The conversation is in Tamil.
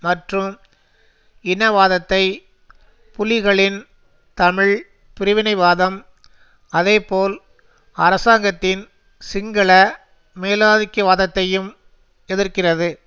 மற்றும் இனவாதத்தை புலிகளின் தமிழ் பிரிவினைவாதம் அதேபோல் அரசாங்கத்தின் சிங்கள மேலாதிக்கவாதத்தையும் எதிர்க்கிறது